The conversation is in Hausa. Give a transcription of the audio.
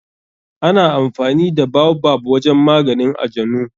Ana amfani da baobab wajen maganin ajanu.